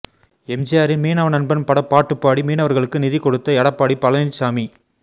எம்ஜிஆரின் மீனவ நண்பன் பட பாட்டுப்பாடி மீனவர்களுக்கு நிதி கொடுத்த எடப்பாடி பழனிச்சாமி